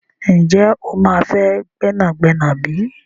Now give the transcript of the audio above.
Ǹjẹ́ o máa fẹ́ gbẹ́nàgbẹ́nà bí?